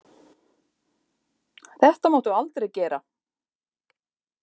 Þetta máttu aldrei gera.